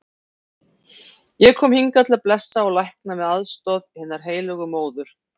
Ég kom hingað til að blessa og lækna með aðstoð hinnar heilögu móður.